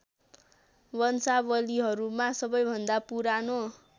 वंशावलीहरूमा सबैभन्दा पुरानो